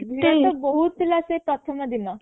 ବହୁତ ଥିଲା ସେ ପ୍ରଥମ ଦିନ